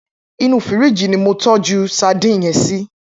Inú fírìjí ni mó tòjú sàdín yèn sí